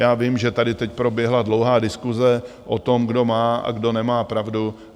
Já vím, že tady teď proběhla dlouhá diskuse o tom, kdo má a kdo nemá pravdu.